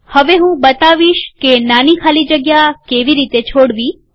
હવે હું બતાવીશ કે નાની ખાલી જગ્યા કેવી રીતે છોડવી